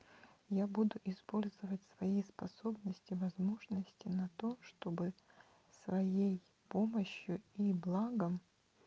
я буду использовать свои способности возможности на то чтобы своей помощью и благом